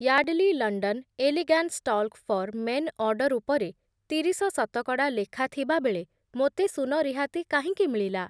Yardley London Elegance talc for men order ଉପରେ ତିରିଶ ଶତକଡ଼ା ଲେଖା ଥିବାବେଳେ ମୋତେ ଶୂନ ରିହାତି କାହିଁକି ମିଳିଲା?